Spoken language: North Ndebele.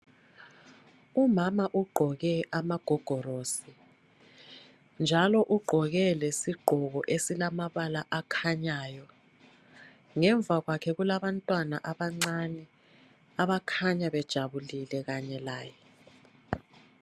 Umama ugqoke amagogorosi njalo ugqoke lesigqoko esilamabala akhanyayo. Ngemva kwakhe kulabantwana abancane abakhanya bejabulile kanye laye.